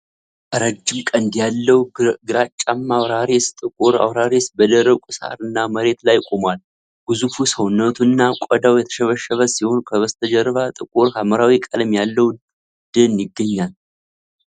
ረጅም ቀንድ ያለው ግራጫማ አውራሪስ (ጥቁር አውራሪስ) በደረቁ ሳር እና መሬት ላይ ቆሟል። ግዙፉ ሰውነቱ እና ቆዳው የተሸበሸበ ሲሆን ከበስተጀርባ ጥቁር ሐምራዊ ቀለም ያለው ደን ይገኛል።